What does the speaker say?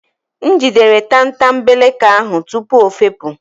M jidere tatambeleke ahụ tupu ọ fepu